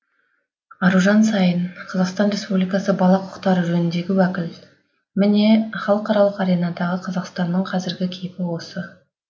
аружан саин қазақстан ркспубликасы бала құқықтары жөніндегі уәкіл міне халықаралық аренадағы қазақстанның қазіргі кейпі осы